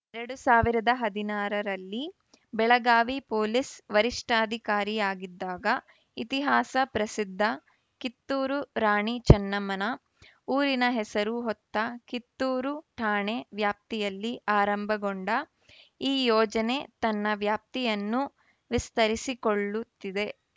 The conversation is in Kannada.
ಎರಡ್ ಸಾವಿರದ ಹದಿನಾರರಲ್ಲಿ ಬೆಳಗಾವಿ ಪೊಲೀಸ್‌ ವರಿಷ್ಠಾಧಿಕಾರಿಯಾಗಿದ್ದಾಗ ಇತಿಹಾಸ ಪ್ರಸಿದ್ಧ ಕಿತ್ತೂರು ರಾಣಿ ಚೆನ್ನಮ್ಮನ ಊರಿನ ಹೆಸರು ಹೊತ್ತ ಕಿತ್ತೂರು ಠಾಣೆ ವ್ಯಾಪ್ತಿಯಲ್ಲಿ ಆರಂಭಗೊಂಡ ಈ ಯೋಜನೆ ತನ್ನ ವ್ಯಾಪ್ತಿಯನ್ನು ವಿಸ್ತರಿಸಿಕೊಳ್ಳುತ್ತಿದೆ